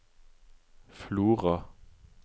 Flora